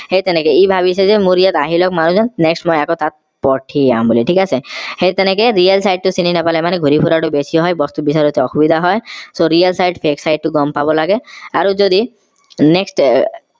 সেই তেনেকে এইভাবিছেযেমোৰ ইয়াত আহি লোৱাক মানুহ জন next মই তাত পঠিয়াম বুলি ঠিক আছে সেই তেনেকে real site টো চিনি নাপালে মানে ঘূৰি ফুৰাটো অলপ বেছি হয় বস্তু বিচাৰোঁতে অসুবিধা হয় so real site fake site টো গম পাব লাগে আৰু যদি next